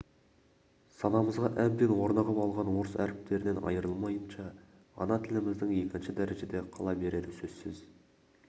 санамызға әбден орнығып алған орыс әріптерінен айырылмайынша ана тіліміздің екінші дәрежеде қала берері сөзсіз